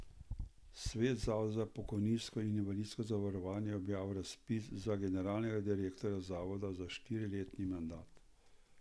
Svet Zavoda za pokojninsko in invalidsko zavarovanje je objavil razpis za generalnega direktorja zavoda za štiriletni mandat.